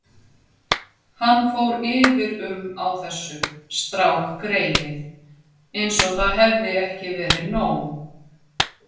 Hann fór yfir um á þessu, strákgreyið, eins og það hefði ekki verið nóg.